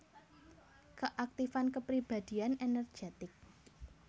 Keaktifan kepribadian energetik